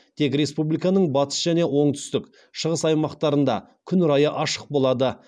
тек республиканың батыс және оңтүстік шығыс аймақтарында күн райы ашық болады